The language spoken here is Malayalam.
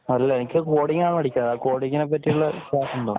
അല്ലാ എനിക്ക് കോഡിങ് ആണ് പഠിക്കേണ്ടത്. കോഡിങ് നെ പറ്റി ഉള്ള ക്ലാസ് ഉണ്ടോ